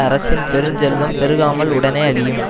அரசின் பெருஞ்செல்வம் பெருகாமல் உடனே அழியும்